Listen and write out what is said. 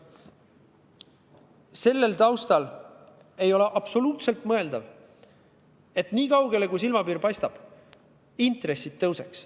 Selle taustal ei ole absoluutselt mõeldav, et vaadates nii kaugele, kui silmapiir paistab, intressid tõuseks.